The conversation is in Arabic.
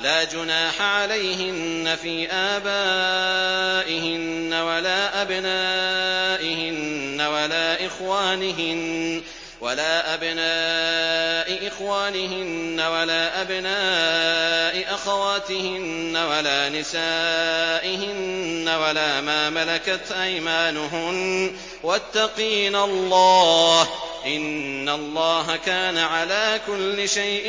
لَّا جُنَاحَ عَلَيْهِنَّ فِي آبَائِهِنَّ وَلَا أَبْنَائِهِنَّ وَلَا إِخْوَانِهِنَّ وَلَا أَبْنَاءِ إِخْوَانِهِنَّ وَلَا أَبْنَاءِ أَخَوَاتِهِنَّ وَلَا نِسَائِهِنَّ وَلَا مَا مَلَكَتْ أَيْمَانُهُنَّ ۗ وَاتَّقِينَ اللَّهَ ۚ إِنَّ اللَّهَ كَانَ عَلَىٰ كُلِّ شَيْءٍ